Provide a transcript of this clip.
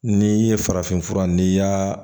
N'i ye farafin fura n'i y'a